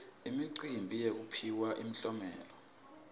imicimbi yekuphiwa imiklomelo